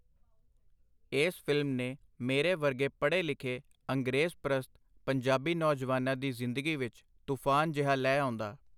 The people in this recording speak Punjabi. ਏਸ ਫਿਲਮ ਨੇ ਮੇਰੇ ਵਰਗੇ ਪੜ੍ਹੇ ਲਿਖੇ, ਅੰਗਰੇਜ਼-ਪਰਸਤ, ਪੰਜਾਬੀ ਨੌਜਵਾਨਾਂ ਦੀ ਜ਼ਿੰਦਗੀ ਵਿਚ ਤੂਫਾਨ ਜਿਹਾ ਲੈ ਆਉਂਦਾ.